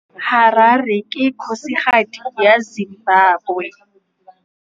Harare ke kgosigadi ya Zimbabwe.